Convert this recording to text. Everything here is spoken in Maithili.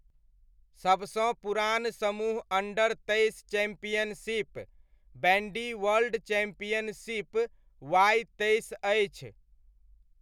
सबसँ पुरान समूह अण्डर तेइस चैम्पियनशिप, बैण्डी वर्ल्ड चैम्पियनशिप वाइ तेइस अछि।